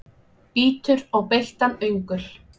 Bítur á beittan öngul.